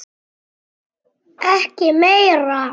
Ekki meira.